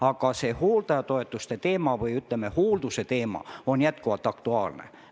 Aga hooldajatoetuste või, ütleme, hoolduse teema on jätkuvalt aktuaalne.